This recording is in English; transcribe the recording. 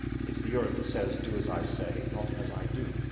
It is the Europe which says, do as I say, not as I do'.